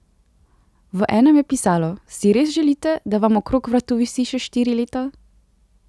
V enem je pisalo: 'Si res želite, da vam okrog vratu visi še štiri leta?